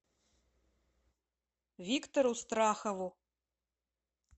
виктору страхову